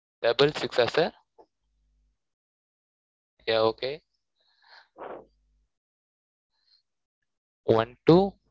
double six ஆ sir yeah okay one two